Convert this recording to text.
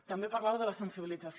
també parlava de la sensibilització